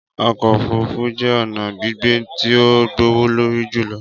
Ọkọ ofurufu jẹ ọna gbigbe ti o gbowolori julọ.